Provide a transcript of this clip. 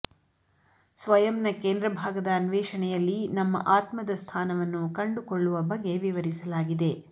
ಸ್ವಯಂನ ಕೇಂದ್ರಭಾಗದ ಅನ್ವೇಷಣೆಯಲ್ಲಿ ನಮ್ಮ ಆತ್ಮದ ಸ್ಥಾನವನ್ನು ಕಂಡುಕೊಳ್ಳುವ ಬಗೆ ವಿವರಿಸಲಾಗಿದೆ